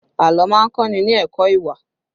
Àlọ́ má ń kọ́ ni ní ẹ̀kọ́ ìwà